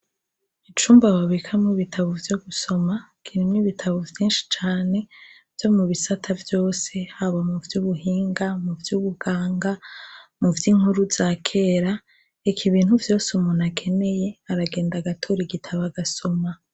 Icumba ababikamwo bitabo vyo gusoma kinemwe ibitabo vyinshi cane vyo mu bisata vyose haba mu vy'ubuhinga mu vy ubuganga mu vyo inkuru za kera iki ibintu vyose umuntu akeneye aragenda agatori gitaba agasoma.